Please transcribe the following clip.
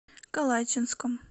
калачинском